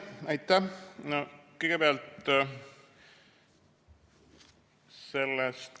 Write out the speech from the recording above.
Aitäh!